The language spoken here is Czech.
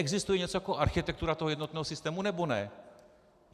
Existuje něco jako architektura toho jednotného systému, nebo ne?